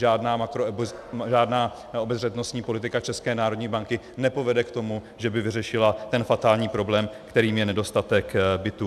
Žádná obezřetnostní politika České národní banky nepovede k tomu, že by vyřešila ten fatální problém, kterým je nedostatek bytů.